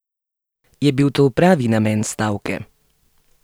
Je bil to pravi namen stavke?